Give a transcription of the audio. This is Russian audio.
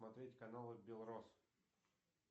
смотреть каналы белрос